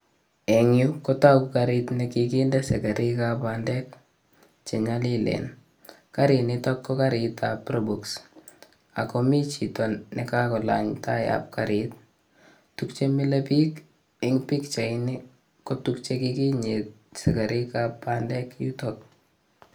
Eng' yu kotooku kariit nekiginde sekerik ap bandek chenyolilen. kariit niiktok ko kariit ap probox akomi chito nekakolany tai ap kariit. Tuukchemile biikeng' pikchaitni ko tuukchekikinyiit sekerik ap bandek yuutok